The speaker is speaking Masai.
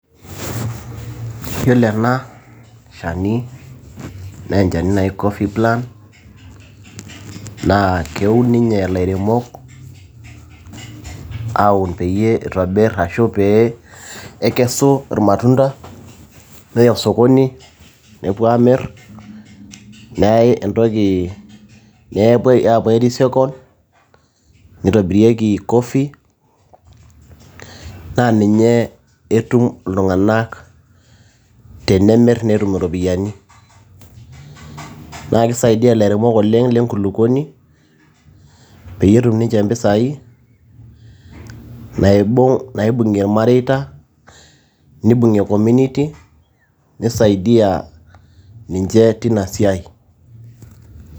Iyiolo ena shani naa enchani naji cofee plant naa keun ninye ilairemok, aun pee eitobir ashu pee eikesu imatunda neya sokoni nepuo aamir nepuoi airecycle neitobirieki coffee, naa ninye etum iltung'anak tenemir netum iropiyiani. Naa keisaidia ilairemok oleng' lenkulukuoni peyie etum ninche impisai naibung'ie ilmareita neibung'ie community, neisaidia ninche teina siai.